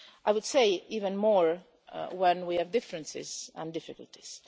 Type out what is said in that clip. I would say even more so when we have differences and difficulties.